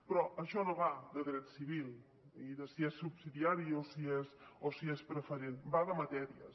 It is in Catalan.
però això no va de dret civil ni de si és subsidiari o si és preferent va de matèries